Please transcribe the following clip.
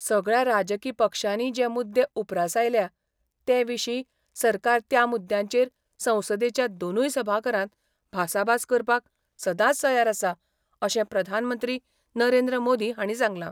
सगळ्या राजकी पक्षानी जे मुददे उपरासायल्या ते विशी सरकार त्या मुद्यांचेर संसदेच्या दोनूय सभाघरांत भासाभास करपाक सदाच तयार आसा अशे प्रधानमंत्री नरेंद्र मोदी हाणी सांगला.